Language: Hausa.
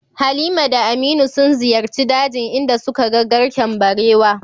Halima da Aminu sun ziyarci dajin inda suka ga garken barewa.